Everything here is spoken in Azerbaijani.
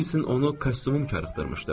Ola bilsin onu kostyumum qıcıqlandırmışdı.